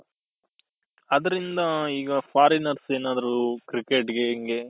ಅದ್ರಿಂದ ಈಗ foreigners ಏನಾದ್ರು cricket ಗೆ ಹಿಂಗೆ